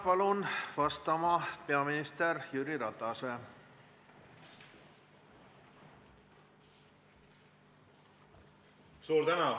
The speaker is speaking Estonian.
Palun vastama peaminister Jüri Ratase.